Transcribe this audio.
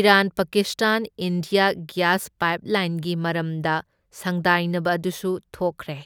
Iran Pakistan India gas ꯄꯥꯏꯞꯂꯥꯏꯟꯒꯤ ꯃꯔꯝꯗ ꯁꯪꯗꯥꯏꯅꯕ ꯑꯗꯨꯁꯨ ꯊꯣꯛꯈ꯭ꯔꯦ꯫